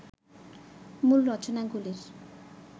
মূল রচনাগুলির